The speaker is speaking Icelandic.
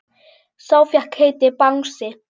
Sá fékk heitið Bangsi.